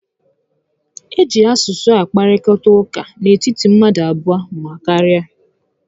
E ji asụsụ akparịta ụka n'etiti mmadụ abụọ ma karịa